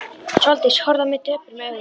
Sóldís horfði á mig döprum augum.